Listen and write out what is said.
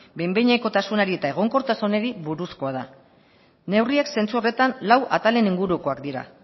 behin behinekotasunari eta egonkortasunari buruzkoa da neurriak zentzu horretan lau atalen ingurukoak dira